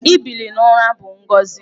Ibili n'ụra bụ ngọzị.